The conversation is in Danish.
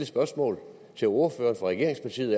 spørgsmål til ordføreren for regeringspartiet